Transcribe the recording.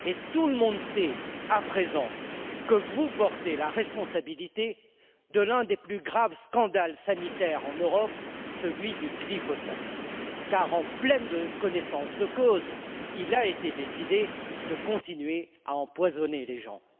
Tout le monde sait à présent que vous portez la responsabilité de l'un des plus graves scandales sanitaires en Europe, celui du glyphosate, car, en pleine connaissance de cause, il a été décidé de continuer à empoisonner les gens.